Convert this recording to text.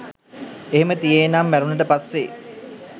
එහෙම තියේ නං මැරුණට පස්සෙ